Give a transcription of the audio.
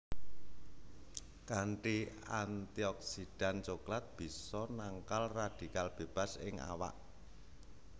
Kanthi antioksidan coklat bisa nangkal radikal bebas ing awak